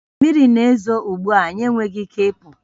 Mmiri na-ezo ugbu a, anyị enweghị ike ịpụ